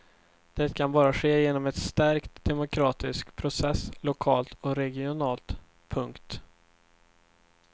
Det kan bara ske genom en stärkt demokratisk process lokalt och regionalt. punkt